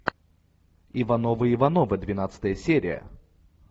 ивановы ивановы двенадцатая серия